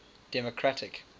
democratic